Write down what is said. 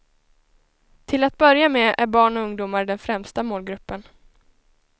Till att börja med är barn och ungdomar den främsta målgruppen.